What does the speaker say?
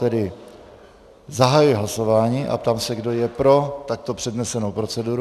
Tedy zahajuji hlasování a ptám se, kdo je pro takto přednesenou proceduru.